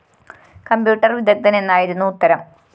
computer വിദഗ്ധന്‍ എന്നായിരുന്നു ഉത്തരം